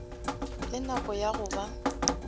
le nako ya go ba